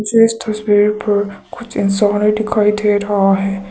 इस तस्वीर पर कुछ इंसान दिखाई दे रहा है।